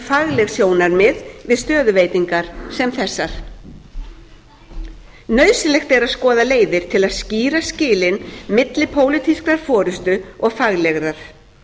fagleg sjónarmið við stöðuveitingar sem þessar nauðsynlegt er að skoða leiðir til að skýra skilin milli pólitískrar forustu og faglegrar